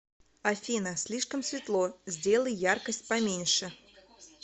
афина слишком светло сделай яркость поменьше